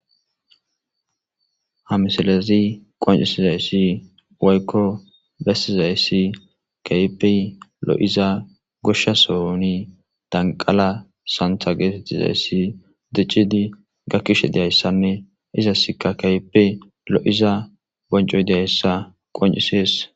Ha misilezi qonccisizayssi woykko bessizayssi keehippe lo7iza goshsha sohon danqala santha geetettizayssi diccidi gakkishe de7iyayssanne izasikka keehippe lo7iza boncoy de7izayssa qonccisees.